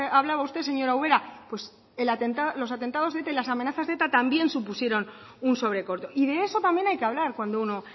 hablaba usted señora ubera pues los atentados de eta y las amenazas de eta también supusieron un sobrecoste y de eso también hay que hablar cuando uno